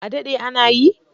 A daɗɗe ana yi?